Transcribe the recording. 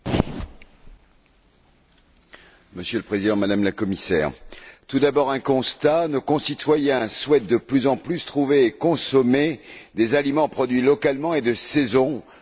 Monsieur le Président, Madame la Commissaire, tout d'abord un constat nos concitoyens souhaitent de plus en plus trouver et consommer des aliments produits localement et de saison, pour des raisons de santé et de qualité notamment.